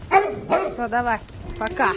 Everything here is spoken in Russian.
все давай пока